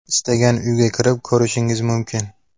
Istagan uyga kirib ko‘rishingiz mumkin’.